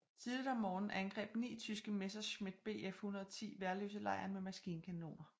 Tidligt om morgenen angreb ni tyske Messerschmitt Bf 110 Værløselejren med maskinkanoner